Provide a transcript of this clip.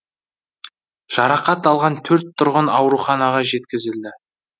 жарақат алған төрт тұрғын ауруханаға жеткізілді